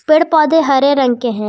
पेड़ पौधे हरे रंग के है।